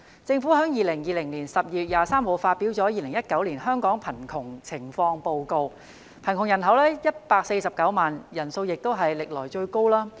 政府在2020年12月23日發表了《2019年香港貧窮情況報告》，貧窮人口有149萬人，人數也屬歷來最高。